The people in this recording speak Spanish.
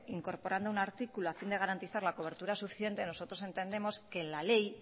incorporando un artículo a fin de garantizar la cobertura suficiente nosotros entendemos que la ley